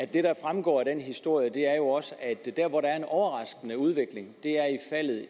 der fremgår af den historie er jo også at der hvor der er en overraskende udvikling er